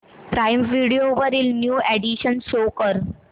prime Video वरील new additions show कर